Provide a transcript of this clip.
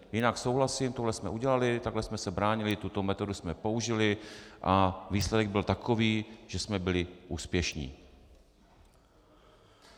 Jinak souhlasím, tohle jsme udělali, takhle jsme se bránili, tuto metodu jsme použili a výsledek byl takový, že jsme byli úspěšní.